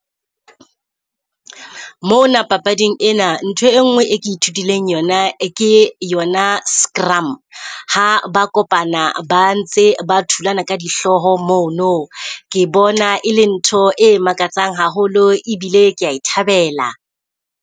Mona papading ena ntho e ngwe e ke ithutileng yona, ke yona scrum. Ha ba kopana ba ntse ba thulana ka dihloho mono, ke bona e le ntho e makatsang haholo e bile kea e thabela.